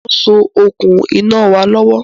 Mo ń so okùn iná wa lọ́wọ́